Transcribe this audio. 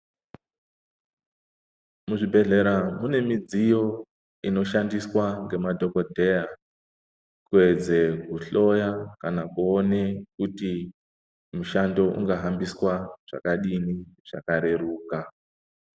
Kuzvibhedhlera kune midziyo ino shandiswa nemadhokodheya kuedze kuhloya kana kuone kuti mushando inga hambiswa zvakadini zvakareruka.